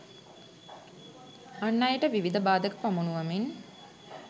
අන් අයට විවිධ බාධක පමුණුවමින්